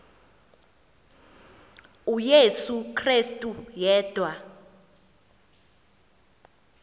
uyesu krestu yedwa